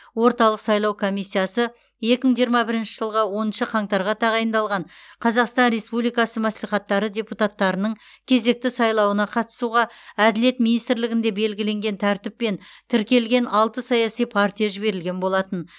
орталық сайлау комиссиясы екі мың жиырма бірінші жылғы оныншы қаңтарға тағайындалған қазақстан республикасы мәслихаттары депутаттарының кезекті сайлауына қатысуға әділет министрлігінде белгіленген тәртіппен тіркелген алты саяси партия жіберілген болатын